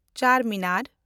ᱪᱮᱱᱰᱢᱤᱱᱮᱱᱰ